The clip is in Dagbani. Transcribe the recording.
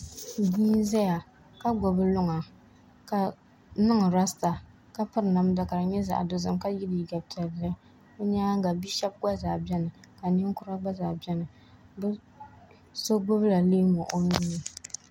Bia n ʒɛya ka gbubi luŋa ka niŋ rasta ka piri namda ka di nyɛ zaɣ dozim ka yɛ liiga piɛlli o nyaanga bia shab gba zaa biɛni ka ninkura gba zaa biɛni so gbubila leemu o nuuni